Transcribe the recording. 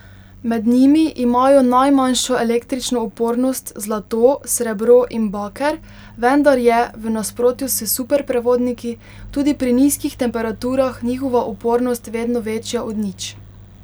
Med njimi imajo najmanjšo električno upornost zlato, srebro in baker, vendar je, v nasprotju s superprevodniki, tudi pri nizkih temperaturah njihova upornost vedno večja od nič.